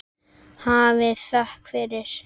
Hafið þökk fyrir.